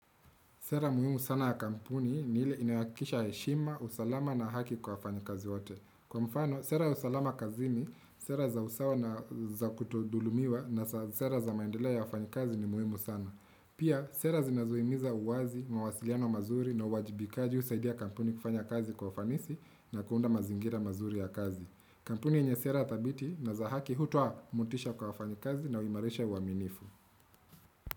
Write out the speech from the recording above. Sera muhimu sana ya kampuni ni ile inayo hakisha heshima, usalama na haki kwa wafanyi kazi wote. Kwa mfano, sera ya usalama kazini, sera za usawa na za kutodhulumiwa na sera za maendelea ya wafanyi kazi ni muhimu sana. Pia, sera zinazuimiza uwazi, mawasiliano mazuri na uwajibikaji husaidia kampuni kufanya kazi kwa ufanisi na kuunda mazingira mazuri ya kazi. Kampuni yenye sera tabiti na za haki hutoa mutisha kwa wafanyi kazi na huimarisha uaminifu.